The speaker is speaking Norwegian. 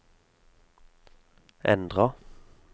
endra